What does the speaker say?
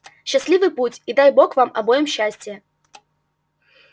счастливый путь и дай бог вам обоим счастия